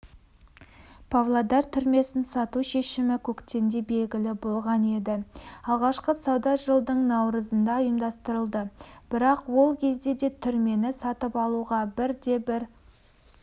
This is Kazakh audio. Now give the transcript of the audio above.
павлодар түрмесін сату шешімі көктемде белгілі болған еді алғашқы сауда жылдың наурызында ұйымдастырылды бірақ ол кезде де түрмені сатып алуға бірде-бір